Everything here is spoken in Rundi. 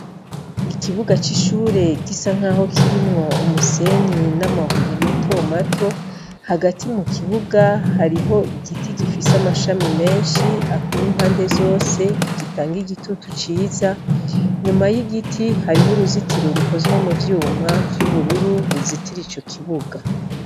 Ikibuga c'ishure gisa nk'aho kirimwo umusenyi n'amabuye matomato hagati mu kibuga hariho igiti gifise amashami menshi akwiye impande zose gitanga igitutu ciza nyuma y'igiti hariho uruzitiro rukozwe mu vyuma vy'ubururu ruzitira ico kibuga.